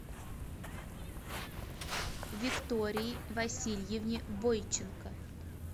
виктории васильевне бойченко